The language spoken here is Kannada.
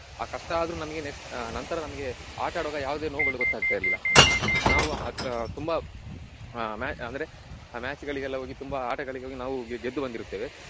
ಆ ಕಷ್ಟಾದ್ರು ನಮ್ಗೆ next ಆಹ್ ನಂತರ ನಮಿಗೆ ಆಟ ಆಡುವಾಗ ಯಾವುದೇ ನೋವುಗಳು ಗೊತ್ತಾಗ್ತ ಇರ್ಲಿಲ್ಲ. ನಾವು ಆಹ್ ತುಂಬಾ ಆಹ್ ma~ ಅಂದ್ರೆ match ಗಳಿಗೆ ಎಲ್ಲ ಹೋಗಿ ತುಂಬ ಆಟಗಳಿಗೆ ಹೋಗಿ ನಾವು ಗೆ~ ಗೆದ್ದು ಬಂದಿರುತ್ತೇವೆ.